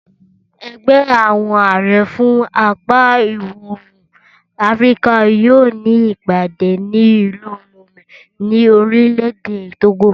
Ẹgbẹ́ àwọn àrẹ fún apá ìwọ̀-oòrùn Áfíríkà yóò ní ìpàdé ní ìlú Lome ní orílẹ̀ èdè Togo